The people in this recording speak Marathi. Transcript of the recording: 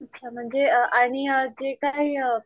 अच्छा म्हणजे आणि अ जे काही अ